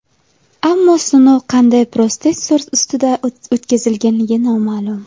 Ammo sinov qanday protsessor ustida o‘tkazilgani noma’lum.